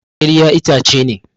Ƙirya itace ne.